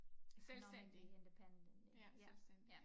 Economically independent ja ja